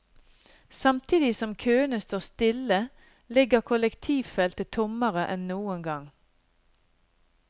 Samtidig som køene står stille, ligger kollektivfeltet tommere enn noen gang.